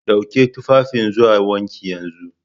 Dauki tufafin zuwa wanki yanzu!